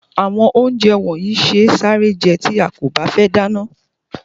Àwọn ounjẹ yii se sáré je tí a kò bá fé dáná